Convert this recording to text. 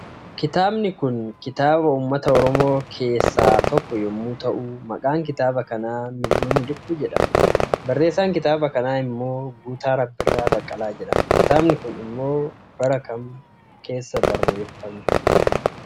Kitaabni Kun kitaaba uummata oromoo keessaa tokko yommuu ta'u maqaan kitaaba kanaa mil'uu miliquu jedhama barreessaan kitaaba kanaa immoo guutaa rabbirraa baqqalaa jedhama. Kitaabni Kun immoo bara Kam keessa bareeffame